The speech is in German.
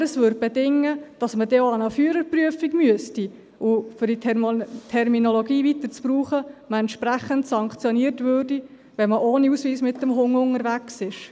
Aber das würde bedingen, dass man dann auch an eine Führerprüfung gehen müsste und – um diese Terminologie weiter zu verwenden – man entsprechend sanktioniert würde, wenn man ohne Ausweis mit dem Hund unterwegs ist.